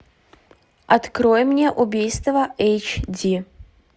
открой мне убийство эйч ди